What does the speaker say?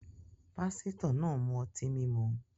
Pásítọ̀ náà ń mu ọtí mímu.